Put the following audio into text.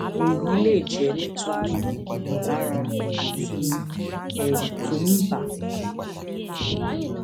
èyí lè jẹ nítorí ìmọlára àti ẹrù tó ń bà á